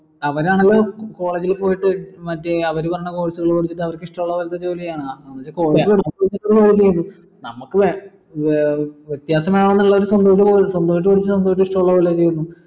അവരാണല്ലോ college ൽ പോയിട്ട് മറ്റേ അവര് പറയണ course കൾ എടുത്തിട്ട് അവർക്ക് ഇഷ്ടുള്ള പോലത്തെ ജോലി ചെയ്യണേ നമുക്ക് ഏർ വെത്യാസം വേണം എന്നുള്ള സ്വന്തായിട്ട് പഠിച്ച് സ്വന്തായിട്ട് ഇഷ്ടുള്ള പോലെ ചെയുന്നു